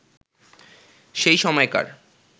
সেই সময়কার